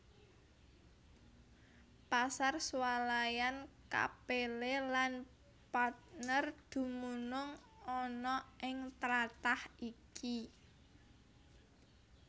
Pasar swalayan Capelle lan Partner dumunung ana ing tlatah iki